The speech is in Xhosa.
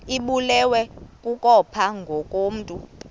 ibulewe kukopha ngokomntu